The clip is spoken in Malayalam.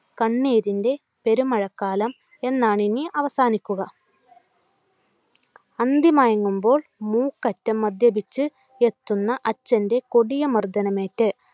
കണ്ണീരിൻ്റെ പെരുമഴക്കാലം എന്നാണിനി അവസാനിക്കുക. അന്തി മയങ്ങുമ്പോൾ മൂക്കറ്റം മദ്യപിച്ചു എത്തുന്ന അച്ഛൻ്റെ കൊടിയ മർദ്ദനം ഏറ്റു